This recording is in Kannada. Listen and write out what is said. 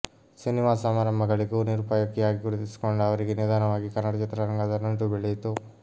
ಸಿನಿಮಾ ಸಮಾರಂಭಗಳಿಗೂ ನಿರೂಪಕಿಯಾಗಿ ಗುರ್ತಿಸಿಕೊಂಡ ಅವರಿಗೆ ನಿಧಾನವಾಗಿ ಕನ್ನಡ ಚಿತ್ರರಂಗದ ನಂಟು ಬೆಳೆಯಿತು